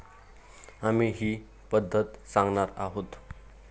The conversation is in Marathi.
आम्ही ही पद्धत सांगणार आहोत.